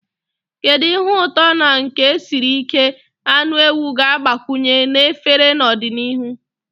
Kedu ihe ụtọ na nke siri ike anụ ewu ga-agbakwunye na efere n'ọdịnihu?